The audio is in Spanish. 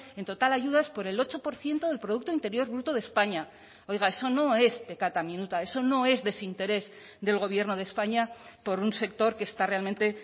en total ayudas por el ocho por ciento del producto interior bruto de españa oiga eso no es peccata minuta eso no es desinterés del gobierno de españa por un sector que está realmente